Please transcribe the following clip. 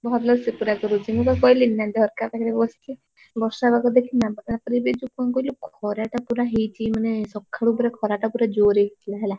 ଭଲ ସେ ପୁରା କରୁଛି ମୁଁ ବା କହିଲି ନା ଝରକା ପାଖରେ ବସଚି ବର୍ଷା ପାଗ ଦେଖିନୁ ନା ପୁରା ମାନେ ଯଉ କଣ କହିଲୁ ଖରା ଟା ପୁରା ହେଇଛି ମାନେ ସକାଳୁ ପୁରା ଖରା ଟା ପୁରା ଜୋରେ ହେଇଥିଲା ହେଲା।